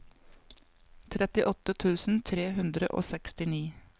trettiåtte tusen tre hundre og sekstini